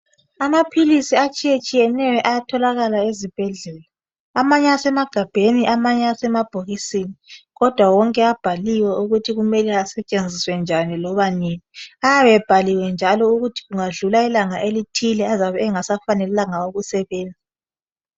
Amaphilisi atshiyetshiyeneyo ayatholakala ezibhedlela. Amanye asemagabheni amanye asemabhokisini. Kodwa wonke abhaliwe ukuthi kumele asetshenziswe njani loba nini. Ayabe ebhaliwe njalo ukuthi kungadlula ilanga elithile azabe engasafanelanga ukusebenza.